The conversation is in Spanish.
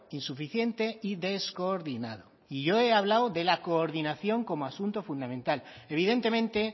insuficiente y descoordinado y yo he hablado de la coordinación como asunto fundamental evidentemente